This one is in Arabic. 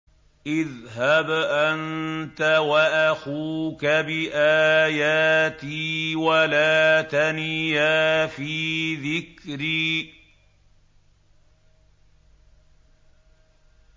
اذْهَبْ أَنتَ وَأَخُوكَ بِآيَاتِي وَلَا تَنِيَا فِي ذِكْرِي